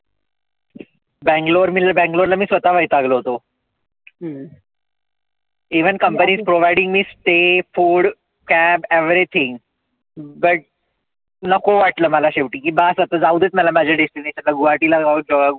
banglore मी तर Bangalore मी तर स्वतः वैतागलो होतो. even company providing me stay food cab everything but नको वाटलं मला शेवटी की बास आता जाऊदेत मला माझ्या destination आता गुहाटीला जाऊ आपण.